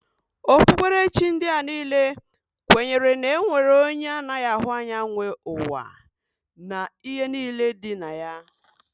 Okpukperechi ndị a niile kwenyere na e nwere onye anaghị ahụ anya nwe ụwa na ihe niile dị na ya